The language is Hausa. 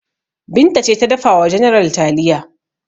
Binta ce ta dafa wa general taliya.